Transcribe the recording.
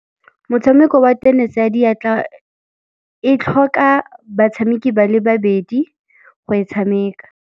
Motshameko wa tenese ya diatla e tlhoka batshameki ba le babedi go e tshameka.